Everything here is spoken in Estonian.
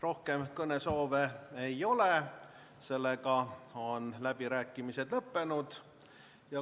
Rohkem kõnesoove ei ole, läbirääkimised on lõppenud.